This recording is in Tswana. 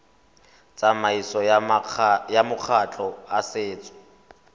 tsamaisong ya makgotla a setso